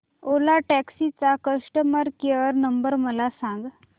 ओला taxi चा customer care number मला सांग